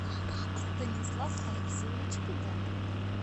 станислав алексеевич педан